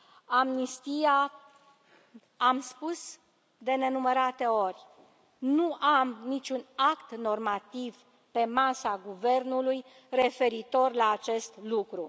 Amnistia am spus de nenumărate ori nu am niciun act normativ pe masa guvernului referitor la acest lucru.